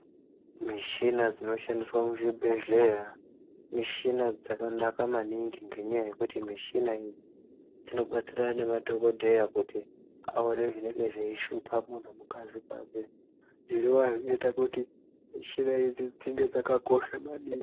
Michina dzinoshandiswa muzvibhedhlera michina dzakanaka maningi ngekuti michina idzi dzinodetserana nemadhogodheya kuti aone zvinenge zveishupha muntu mukati mwake. Zvinoita kuti mishina idzi dzinge dzakakosha maningi.